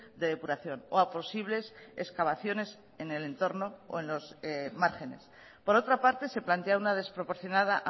de depuración o a posibles excavaciones en el entorno o en los márgenes por otra parte se plantea una desproporcionada